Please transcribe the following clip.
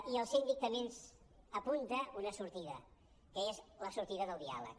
i el síndic també ens apunta una sortida que és la sortida del diàleg